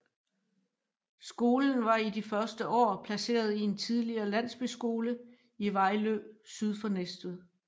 Skolen var i de første år placeret i en tidligere landsbyskole i Vejlø syd for Næstved